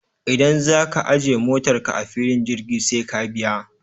Idan za ka ajiye motarka a filin jirgi sai ka biya.